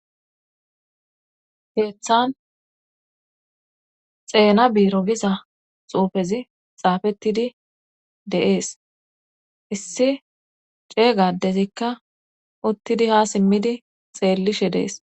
Keeththan xeena biiro giza xuufezi xaafettidi de'ees issi ceegadezikka uttidi ha simmidi xeellishe de'es